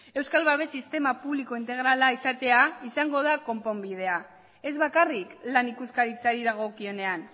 euskal babes sistema publiko integrala izatea izango da konponbidea ez bakarrik lan ikuskaritzari dagokionean